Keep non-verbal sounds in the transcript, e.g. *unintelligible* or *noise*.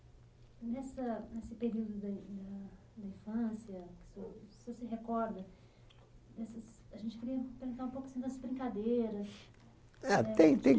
Nessa nesse período da in ah da infância, *unintelligible* o senhor se recorda dessas, a gente queria perguntar um pouco assim das brincadeiras... Ah, tem tem